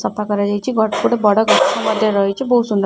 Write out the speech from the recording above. ସଫା କରା ଯାଇଛି ଗୋ ଗୋଟେ ବଡ ଗଛ ମଧ୍ୟ ରହିଛି। ବହୁତ ସୁନ୍ଦର --